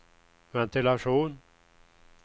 ventilation